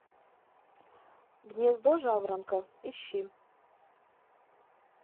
гнездо жаворонка ищи